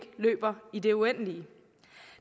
løber i det uendelige